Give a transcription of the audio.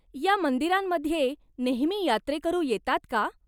या मंदिरांमध्ये नेहमी यात्रेकरू येतात का?